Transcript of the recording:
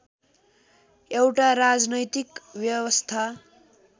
एउटा राजनैतिक व्यवस्था